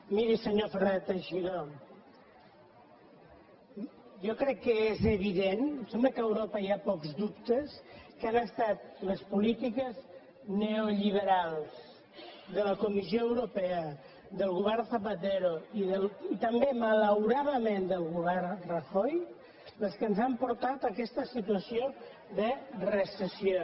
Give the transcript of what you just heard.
miri senyor fernández teixidó jo crec que és evident em sembla que a europa hi ha pocs dubtes que han estat les polítiques neolliberals de la comissió europea del govern zapatero i també malauradament del govern rajoy les que ens han portat a aquesta situació de recessió